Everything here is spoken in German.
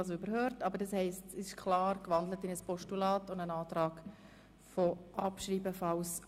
Also, die Motion ist in ein Postulat gewandelt worden, und es liegt, sofern es zur Annahme kommt, ein Antrag auf Abschreibung vor.